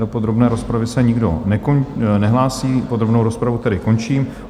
Do podrobné rozpravy se nikdo nehlásí, podrobnou rozpravu tedy končím.